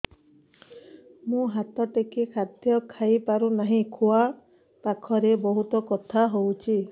ମୁ ହାତ ଟେକି ଖାଦ୍ୟ ଖାଇପାରୁନାହିଁ ଖୁଆ ପାଖରେ ବହୁତ ବଥା ହଉଚି